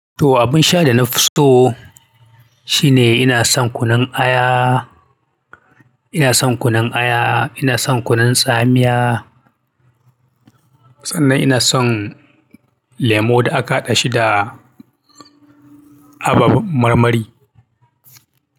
To abin sha da na fi so shine ina son kunun aya. Ina son kunun aya, ina son kunun tsamiya sannan ina son lemo da aka haɗa shi da abab marmari.